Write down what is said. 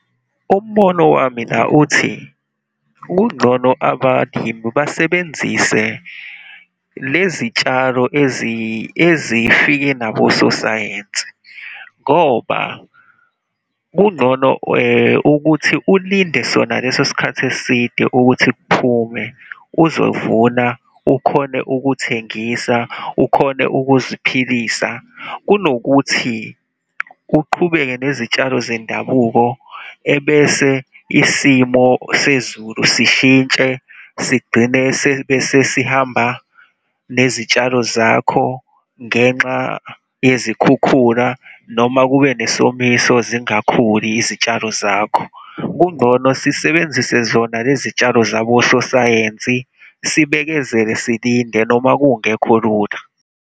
Umbono wami la uthi, kungcono abalimu basebenzise lezitshalo ezifike nabososayensi, ngoba kungcono ukuthi ulinde sona leso sikhathi eside ukuthi kuphume, uzovuna, ukhone ukuthengisa, ukhone ukuziphilisa, kunokuthi uqhubeke nezitshalo zendabuko ebese isimo sezulu sishintshe, sigcine sebesesihamba nezitshalo zakho ngenxa yezikhukhula, noma kube nesomiso zingakhuli izitshalo zakho. Kungcono sisebenzise zona lezitshalo zabososayensi, sibekezele, silinde noma kungekho lula.